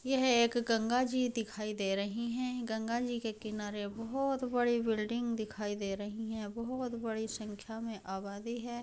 यह एक गंगाजी दिखाई दे रही है। गंगाजी के किनारे बोहोत बड़ी बिल्डिंग दिखाई दे रही हैं। बोहोत बड़ी संख्या में आबादी है।